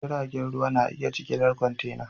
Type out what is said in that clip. Jiragen ruwa na iya jigilar kwantena.